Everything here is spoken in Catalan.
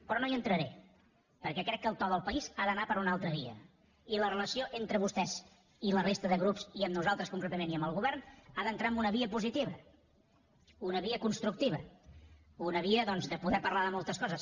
però no hi entraré perquè crec que el to del país ha d’anar per una altra via i la relació entre vostès i la resta de grups i amb nosaltres concretament i amb el govern ha d’entrar en una via positiva una via constructiva una via doncs de poder parlar de moltes coses